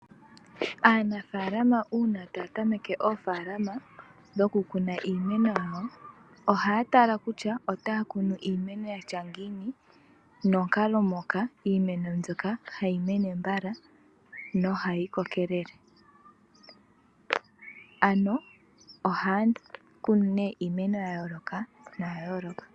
Aanafaalama uuna taya tameke oofaalama dhoku kuna iimeno yawo ohaya tala kutya otaya kunu iimeno yatya ngiini nonkalo moka iimeno mbyoka hayi mene mbala nohayi kokelele ano ohaya kunu nee iimeno ya yooloka